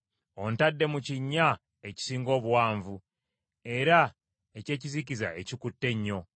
Ontadde mu kinnya ekisinga obuwanvu, era eky’ekizikiza ekikutte ennyo.